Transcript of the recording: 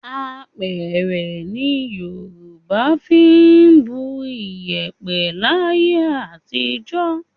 Apẹ̀rẹ̀ ni Yorùbá fi ń bu iyẹ̀pẹ̀ láyé àtijọ́